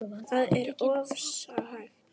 Það er oftast hægt.